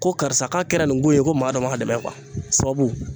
Ko karisa k'a kɛra nin ko ye ko maa dɔ ma dɛmɛ